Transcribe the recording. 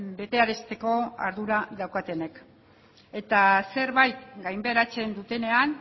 betearazteko ardura daukatenek eta zerbait gainbeheratzen dutenean